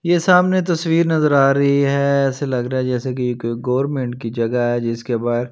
ये सामने तस्वीर नजर आ रही है ऐसे लग रहा है जैसे कि ये कोई गवर्नमेंट की जगह है जिसके बाहर--